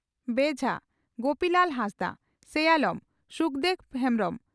ᱵᱮᱡᱷᱟ (ᱜᱳᱯᱤᱞᱟᱞ ᱦᱟᱸᱥᱫᱟ) ᱥᱮᱭᱟᱞᱚᱢ (ᱥᱩᱠᱫᱮᱵᱽ ᱦᱮᱢᱵᱽᱨᱚᱢ) ᱾